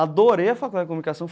Adorei a Faculdade de Comunicação.